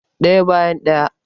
Ɗaya bayan ɗaya